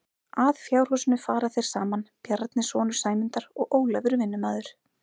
Að fjárhúsinu fara þeir saman Bjarni sonur Sæmundar og Ólafur vinnumaður.